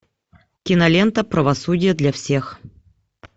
кинолента правосудие для всех